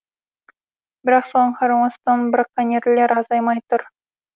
бірақ соған қарамастан браконьерлер азаймай тұр